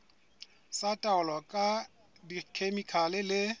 tsa taolo ka dikhemikhale le